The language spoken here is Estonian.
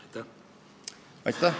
Aitäh!